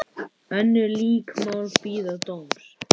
Önnur lík mál bíða dóms.